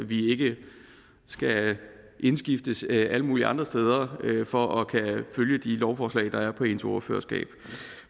vi ikke skal indskiftes alle mulige andre steder for at kunne følge de lovforslag der er på ens ordførerskab